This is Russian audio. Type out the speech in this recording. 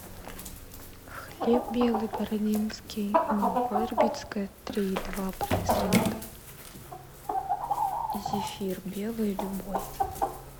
хлеб белый бородинский молоко ирбитское три и два процента зефир белый любой